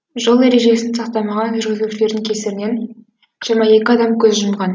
жол ережесін сақтамаған жүргізушілердің кесірінен жиырма екі адам көз жұмған